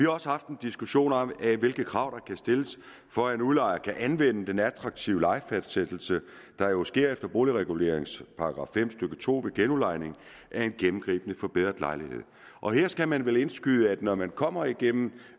også haft en diskussion om hvilke krav der kan stilles for at en udlejer kan anvende den attraktive lejefastsættelse der jo sker efter boligreguleringens § fem stykke to ved genudlejning af en gennemgribende forbedret lejlighed og her skal man vel indskyde at når man kommer igennem